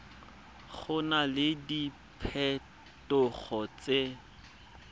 go na le diphetogo tse